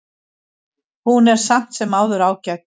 Hún er samt sem áður ágæt.